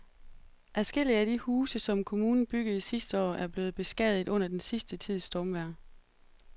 Adskillige af de huse, som kommunen byggede sidste år, er blevet beskadiget under den sidste tids stormvejr.